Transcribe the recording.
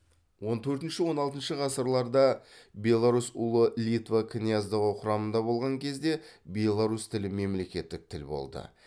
он төртінші он алтыншы ғасырларда беларусь ұлы литва князьдігі құрамында болған кезде беларусь тілі мемлекеттік тіл болды